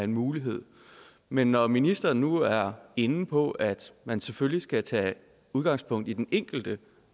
mulighed men når ministeren nu er inde på at man selvfølgelig skal tage udgangspunkt i den enkelte